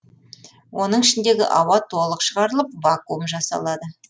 оның ішіндегі ауа толық шығарылып вакуум жасалады